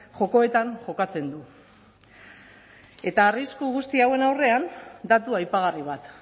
jokoetan jokatzen du eta arrisku guzti hauen aurrean datu aipagarri bat